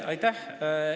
Aitäh!